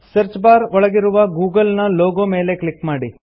search bar ಒಳಗಿರುವ Google ನ logo ಮೇಲೆ ಕ್ಲಿಕ್ ಮಾಡಿ